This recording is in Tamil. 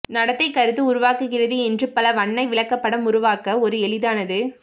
நடத்தை கருத்து உருவாக்குகிறது என்று பல வண்ண விளக்கப்படம் உருவாக்க ஒரு எளிதானது